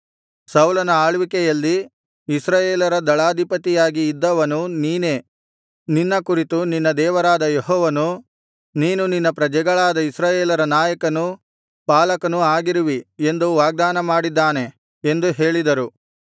ಸೌಲನ ಆಳ್ವಿಕೆಯಲ್ಲಿ ಇಸ್ರಾಯೇಲರ ದಳಾಧಿಪತಿಯಾಗಿ ಇದ್ದವನು ನೀನೇ ನಿನ್ನ ಕುರಿತು ನಿನ್ನ ದೇವರಾದ ಯೆಹೋವನು ನೀನು ನನ್ನ ಪ್ರಜೆಗಳಾದ ಇಸ್ರಾಯೇಲರ ನಾಯಕನೂ ಪಾಲಕನೂ ಆಗಿರುವಿ ಎಂದು ವಾಗ್ದಾನ ಮಾಡಿದ್ದಾನೆ ಎಂದು ಹೇಳಿದರು